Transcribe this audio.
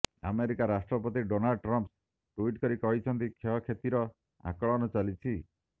America ରାଷ୍ଟ୍ରପତି Donald Trump tweet କରି କହିଛନ୍ତି କ୍ଷୟକ୍ଷତିର ଆକଳନ ଚାଲିଛି